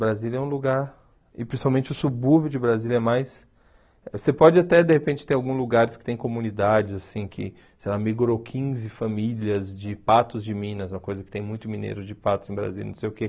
Brasília é um lugar, e principalmente o subúrbio de Brasília é mais... Você pode até, de repente, ter alguns lugares que tem comunidades, assim, que, sei lá, migrou quinze famílias de patos de Minas, uma coisa que tem muito mineiro de patos em Brasília, não sei o quê.